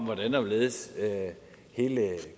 hvordan og hvorledes hele